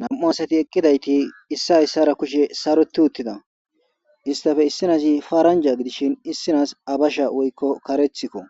nam7u asati eqqidayti issi issara kushe saroti uttida istafe issinazi paaranja gidishin issinas abasha woykko karethikko